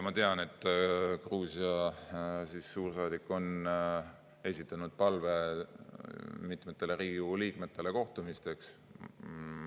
Ma tean, et Gruusia suursaadik on esitanud palve mitmetele Riigikogu liikmetele kohtumisteks.